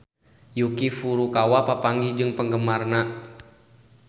Yuki Furukawa papanggih jeung penggemarna